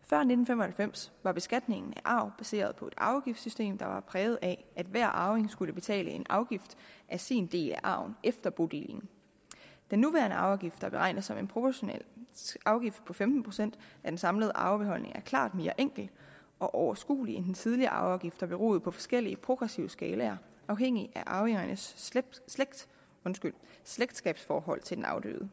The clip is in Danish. før nitten fem og halvfems var beskatningen af arv baseret på et arveafgiftssystem der var præget af at hver arving skulle betale en afgift af sin del af arven efter bodelingen den nuværende arveafgift som er beregnet som en proportional afgift på femten procent af den samlede arvebeholdning er klart mere enkel og overskuelig end den tidligere arveafgift der beroede på forskellige progressive skalaer afhængig af arvingernes slægtskabsforhold til den afdøde